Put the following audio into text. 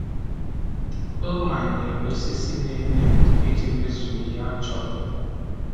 O manyere osisi na-enye ndo iji mezue ihe a chọrọ.